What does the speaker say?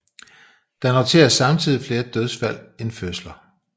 Der noteres samtidigt flere dødsfald end fødsler